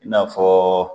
I n'a fɔ